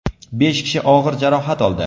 Besh kishi og‘ir jarohat oldi.